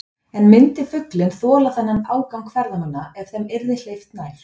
En myndi fuglinn þola þennan ágang ferðamanna ef þeim yrði hleypt nær?